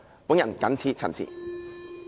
我謹此陳辭。